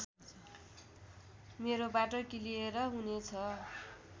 मेरो बाटो क्लियर हुनेछ